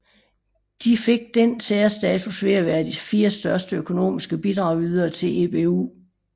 De fik denne særstatus ved at være de fire største økonomiske bidragydere til EBU